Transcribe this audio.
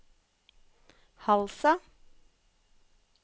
Halsa